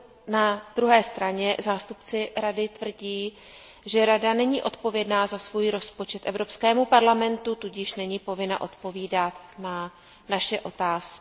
Na druhé straně zástupci Rady tvrdí, že Rada není odpovědná za svůj rozpočet Evropskému parlamentu, tudíž není povinna odpovídat na naše otázky.